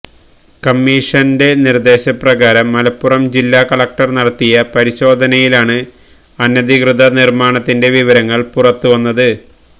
കമ്മീഷന്റെ നിര്ദേശപ്രകാരം മലപ്പുറം ജില്ലാ കലക്ടര് നടത്തിയ പരിശോധനയിലാണ് അനധികൃത നിര്മ്മാണത്തിന്റെ വിവരങ്ങള് പുറത്തുവന്നത്